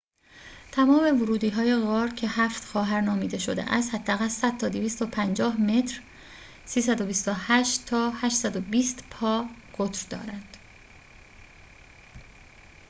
تمام ورودی‌های غار که «هفت خواهر» نامیده شده است حداقل 100 تا 250 متر 328 تا 820 پا قطر دارند